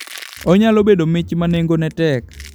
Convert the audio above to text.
Onyalo bedo mich ma nengone tek.